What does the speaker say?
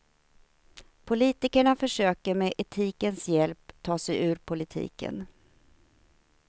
Politikerna försöker med etikens hjälp ta sig ur politiken.